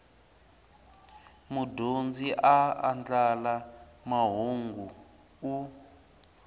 mudyondzi a andlala mahungu u